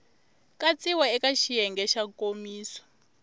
katsiwa eka xiyenge xa nkomiso